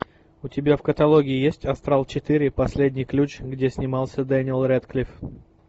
у тебя в каталоге есть астрал четыре последний ключ где снимался дэниел рэдклифф